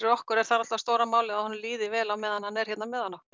okkur er það stóra málið að honum líði vel á meðan hann er hérna meðal